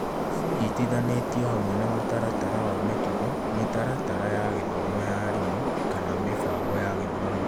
Cinyitithanĩtio hamwe na mũtaratara wa mĩtugo, mĩtaratara ya gĩthomo ya arimũ, kana mĩbango ya gĩthomo .